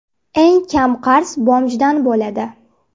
Eng kam qarz BOMJdan bo‘ladi.